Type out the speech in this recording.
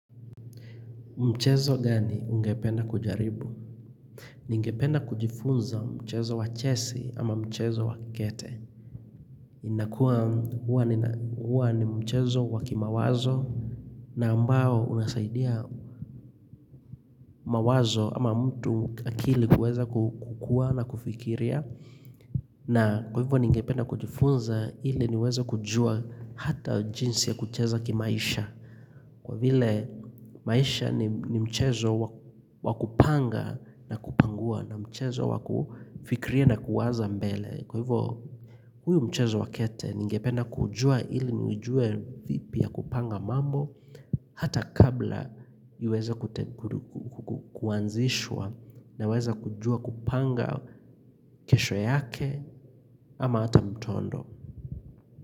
Mchezo gani ungependa kujaribu? Ningependa kujifunza mchezo wa chesi ama mchezo wa kikete. Inakuwa huwa ni mchezo wa kimawazo na ambao unasaidia mawazo ama mtu akili kuweza kukua na kufikiria na kwa hivyo ningependa kujifunza ili niweze kujua hata jinsi ya kucheza kimaisha Kwa vile maisha ni mchezo wa kupanga na kupangua na mchezo wa kufikiria na kuwaza mbele. Kwa hivyo huu mchezo wa kete ningependa kujua ili ni ujue vipi ya kupanga mambo hata kabla iweza kuanzishwa na weza kujua kupanga kesho yake ama hata mtondo.